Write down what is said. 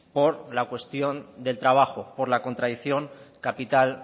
por la cuestión del trabajo por la contradicción capital